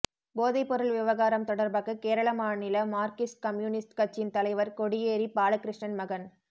போதைப்பொருள் விவகாரம் தொடா்பாக கேரள மாநில மாா்க்சிஸ்ட் கம்யூனிஸ்ட் கட்சியின் தலைவா் கொடியேறி பாலகிருஷ்ணன் மகன்